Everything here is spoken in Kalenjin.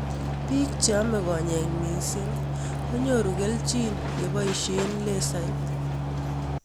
Piik che ame konyek mising' ko nyoru kelchin ye poishe laser